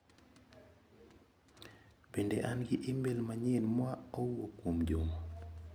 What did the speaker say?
Bende an gi imel manyien ma owuok kuom Juma?